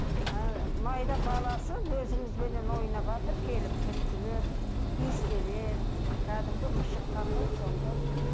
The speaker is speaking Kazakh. ыыы майда баласы өзімізбенен ойнаватыр келіп түрткілеп иіскелеп кәдімгі қандай сондай